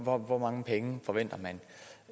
om hvor mange penge forventer man